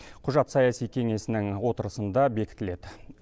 құжат саяси кеңесінің отырысында бекітіледі